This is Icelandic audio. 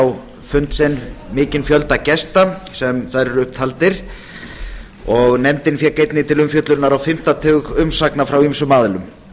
á fund sinn mikinn fjölda gesta sem þar eru upp taldir nefndin fékk einnig til umfjöllunar á fimmta tug umsagna frá ýmsum aðilum